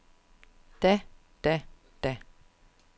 da da da